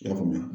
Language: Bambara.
I y'a faamuya